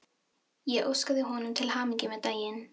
Ég óskaði honum til hamingju með daginn.